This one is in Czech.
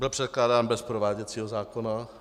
Byl předkládán bez prováděcího zákona.